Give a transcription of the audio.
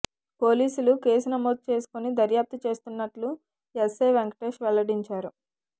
పోలీసులు కేసు నమోదు చేసుకొని దర్యాప్తు చేస్తున్నట్లు ఎస్ఐ వెంకటేష్ వెల్లడించారు